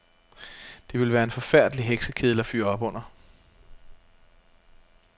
Det ville være en forfærdelig heksekedel at fyre op under.